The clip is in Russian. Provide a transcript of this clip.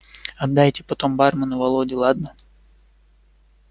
отдайте потом бармену володе ладно